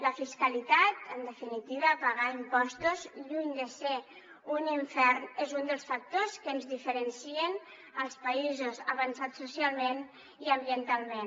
la fiscalitat en definitiva pagar impostos lluny de ser un infern és un dels factors que ens diferencien els països avançats socialment i ambientalment